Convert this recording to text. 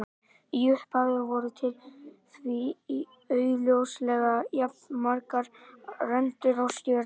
Í upphafi voru því augljóslega jafnmargar rendur og stjörnur.